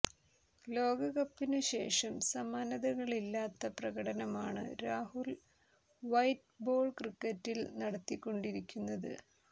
ലോകകകപ്പിനു ശേഷം സമാനതകളില്ലാത്ത പ്രകടനമാണ് രാഹുൽ വൈറ്റ് ബോൾ ക്രിക്കറ്റിൽ നടത്തിക്കൊണ്ടിരിക്കുന്നത്